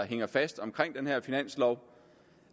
hænger fast omkring den her finanslov